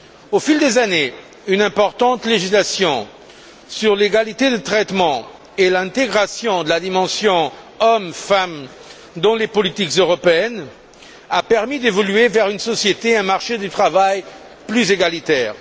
Au fil des années, une importante législation sur l'égalité de traitement et l'intégration de la dimension hommes femmes dans les politiques européennes a permis d'évoluer vers une société et un marché du travail plus égalitaires.